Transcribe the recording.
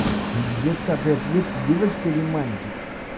детка ты ответь ты девочка или мальчик